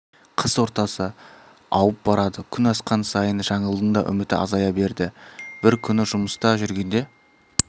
қыс ортасы ауып барады күн асқан сайын жаңылдың да үміті азая берді бір күні жұмыста жүргенде